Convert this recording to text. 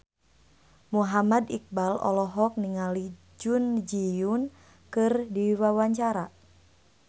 Muhammad Iqbal olohok ningali Jun Ji Hyun keur diwawancara